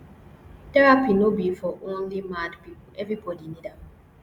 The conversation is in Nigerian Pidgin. therapy no be for only mad pipo everbodi need am